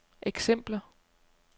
eksempler